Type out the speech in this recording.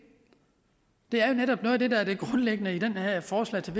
er jo netop noget af det der er det grundlæggende i det her forslag til